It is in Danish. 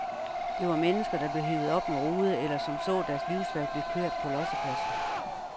Det var mennesker, der blev hevet op med rode eller som så deres livsværk blive kørt på lossepladsen.